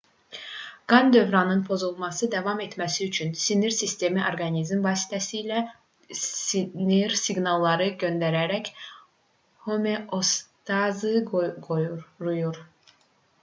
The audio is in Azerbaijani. qan dövranının pozulmadan davam etməsi üçün sinir sistemi orqanizm vasitəsilə sinir siqnalları göndərərək homeostazı qoruyur